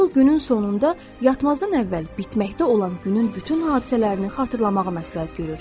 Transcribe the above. Nevil günün sonunda yatmazdan əvvəl bitməkdə olan günün bütün hadisələrini xatırlamağı məsləhət görür.